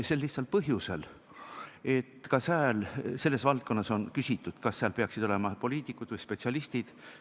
Sel lihtsal põhjusel, et ka sääl, selles valdkonnas, on küsitud, kas seal peaksid olema poliitikud või spetsialistid.